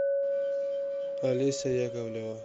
олеся яковлева